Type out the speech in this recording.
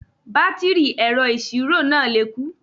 Bátìrì ẹ̀rọ ìṣirò náà lè kú